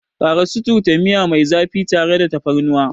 Ƙara suturta miya mai zafi tare da tafarnuwa.